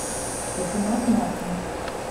патимат маркин